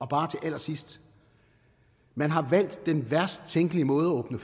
bare til allersidst man har valgt den værst tænkelige måde at åbne